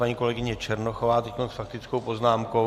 Paní kolegyně Černochová teď s faktickou poznámkou.